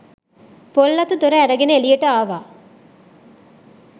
පොල් අතු දොර ඇරගෙන එළියට ආවා.